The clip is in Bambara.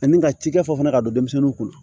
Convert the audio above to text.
Ani ka cikɛ fɔ fana ka don denmisɛnninw kunna